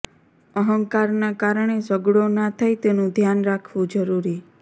અહંકારના કારણે ઝગડો ના થાય તેનું ધ્યાન રાખવું જરૂરી